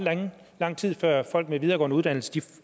lang tid før folk med videregående uddannelser